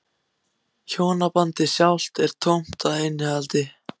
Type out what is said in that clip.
Hjónabandið sjálft er tómt að innihaldi.